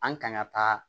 An kan ka taa